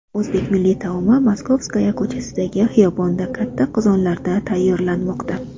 O‘zbek milliy taomi Moskovskaya ko‘chasidagi xiyobonda katta qozonlarda tayyorlanmoqda.